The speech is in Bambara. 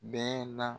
Bɛn na